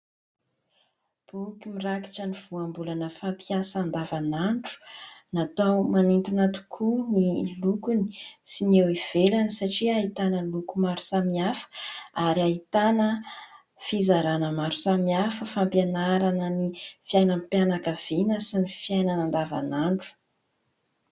Boky mirakitra ny voambolana fampiasa andavanandro. Natao manintona tokoa ny lokony sy ny eo ivelany satria ahitana loko maro samihafa ary ahitana fizarana maro samihafa : fampianarana ny fiainam-pianakaviana sy ny fiainana andavanandro.